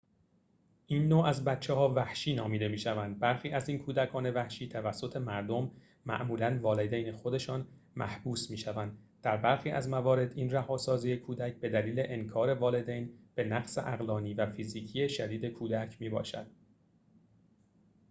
این نوع از بچه‌ها «وحشی» نامیده می‌شوند. برخی از این کودکان وحشی توسط مردم معمولا والدین خودشان محبوس می‌شوند؛ در برخی از موارد این رهاسازی کودک بدلیل انکار والدین به نقص عقلانی و فیزیکی شدید کودک می‌باشد